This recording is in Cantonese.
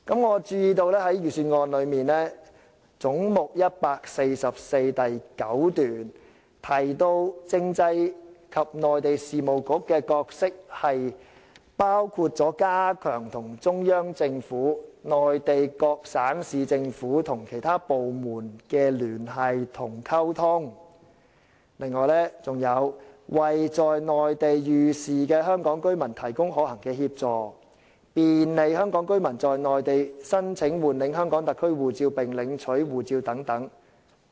我注意到財政預算案中有關總目144的部分的第9段提到，政制及內地事務局的角色包括加強與中央政府、內地各省市政府和其他部門的聯繫和溝通；為在內地遇事的香港居民提供可行的協助；便利香港居民在內地申請換領香港特區護照並領取護照等。